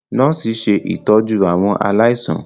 nọọsi ṣe ìtọjú àwọn aláìsàn.